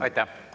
Aitäh!